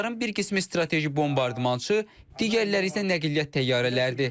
Onların bir qismi strateji bombardmançı, digərləri isə nəqliyyat təyyarələridir.